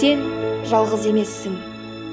сен жалғыз емессің